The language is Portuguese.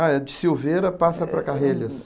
Ah, é? De passa para?